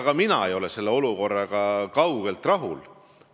Ka mina ei ole selle olukorraga kaugeltki rahul.